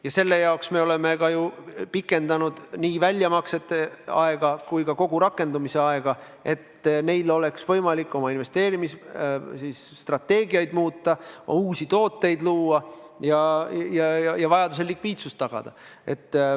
Ja selle jaoks me oleme pikendanud nii väljamaksete aega kui ka seaduse rakendumise aega, et neil oleks võimalik oma investeerimisstrateegiaid muuta, uusi tooteid luua ja vajadusel likviidsust tagada.